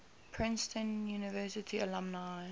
princeton university alumni